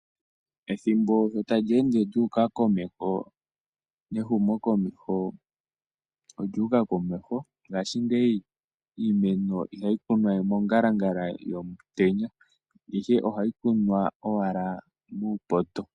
Ethimbo sho tali ende lyu uka komeho nehumokomeho olyu uka komeho. Ngaashingeyi iimeno ihayi kunwa we mongalangala yomutenya, ihe ohayi kunwa owala muupoto.